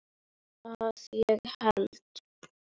Að ég held.